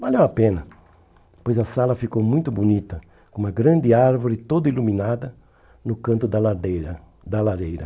Valeu a pena, pois a sala ficou muito bonita, com uma grande árvore toda iluminada no canto da ladeira da lareira.